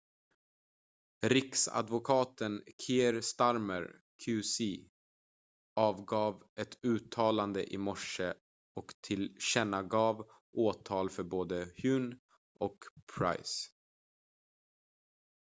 riksadvokaten kier starmer qc avgav ett uttalande i morse och tillkännagav åtal för både huhne och pryce